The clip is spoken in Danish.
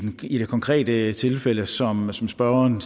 i det konkrete tilfælde som som spørgeren